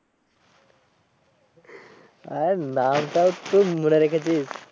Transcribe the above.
এই নামটা তুই মনে রেখেছিস